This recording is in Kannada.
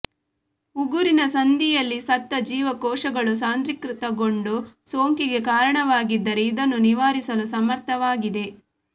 ಉಗುರಿನ ಸಂದಿಯಲ್ಲಿ ಸತ್ತ ಜೀವಕೋಶಗಳು ಸಾಂದ್ರೀಕೃತಕೊಂಡು ಸೋಂಕಿಗೆ ಕಾರಣವಾಗಿದ್ದರೆ ಇದನ್ನು ನಿವಾರಿಸಲು ಸಮರ್ಥವಾಗಿದೆ